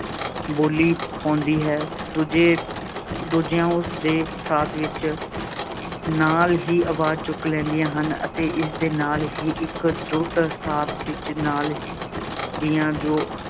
ਬੋਲੀ ਪਾਉਂਦੀ ਹੈ, ਦੂਜੇ ਦੂਜੀਆਂ ਉਸਦੇ ਸਾਥ ਵਿੱਚ ਨਾਲ ਹੀ ਆਵਾਜ਼ ਚੁੱਕ ਲੈਂਦੀਆਂ ਹਨ ਅਤੇ ਇਸਦੇ ਨਾਲ ਹੀ ਇੱਕ ਜੁੁੱਟ ਸਾਰ ਪਿੱਚ ਨਾਲ ਹੀ ਦੀਆਂ ਜੋ